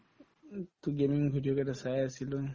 to game ৰ video কেইটা চাই আছিলো